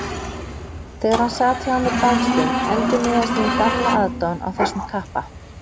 Þegar hann sat hjá mér dagstund endurnýjaðist mín gamla aðdáun á þessum kappa.